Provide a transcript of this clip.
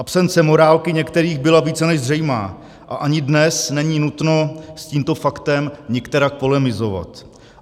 Absence morálky některých byla více než zřejmá a ani dnes není nutno s tímto faktem nikterak polemizovat.